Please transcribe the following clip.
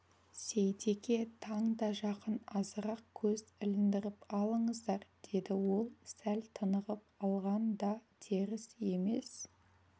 сейтеке таң да жақын азырақ көз іліндіріп алыңыздар деді ол сәл тынығып алған да теріс емес